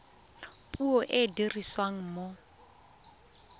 puo e e dirisiwang mo